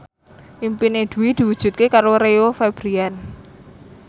impine Dwi diwujudke karo Rio Febrian